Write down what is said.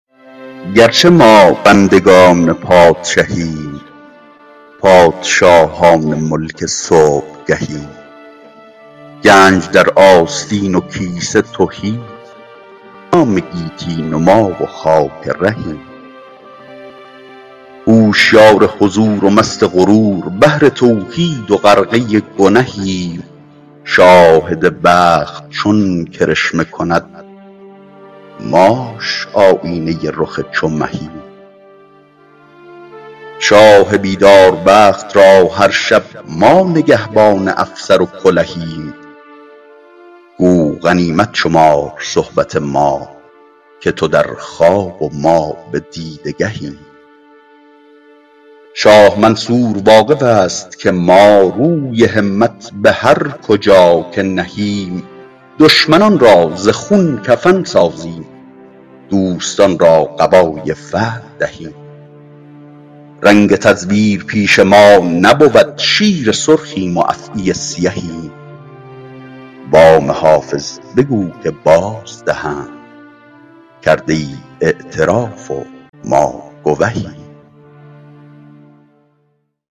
گرچه ما بندگان پادشهیم پادشاهان ملک صبحگهیم گنج در آستین و کیسه تهی جام گیتی نما و خاک رهیم هوشیار حضور و مست غرور بحر توحید و غرقه گنهیم شاهد بخت چون کرشمه کند ماش آیینه رخ چو مهیم شاه بیدار بخت را هر شب ما نگهبان افسر و کلهیم گو غنیمت شمار صحبت ما که تو در خواب و ما به دیده گهیم شاه منصور واقف است که ما روی همت به هر کجا که نهیم دشمنان را ز خون کفن سازیم دوستان را قبای فتح دهیم رنگ تزویر پیش ما نبود شیر سرخیم و افعی سیهیم وام حافظ بگو که بازدهند کرده ای اعتراف و ما گوهیم